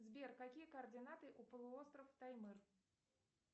сбер какие координаты у полуостров таймыр